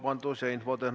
Tänan küsimuse eest!